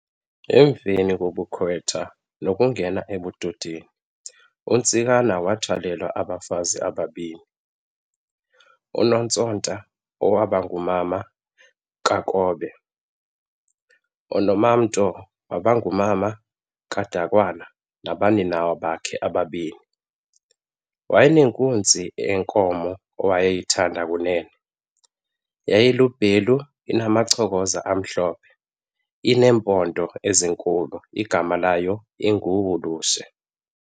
Emveni kobukhwetha nokungena ebudodeni, uNtsikana wathwalelwa abafazi ababini. uNontsonta owabangumama kaKobe, uNomamto owabangumama kaDukwana nabaninawa bakhe ababini. Wayenenkunzi yenkomo awayeyithanda Kunene, yayilubhelu inamacokoza amhlobhe ineempondo ezinkulu igama layo inguHulushe.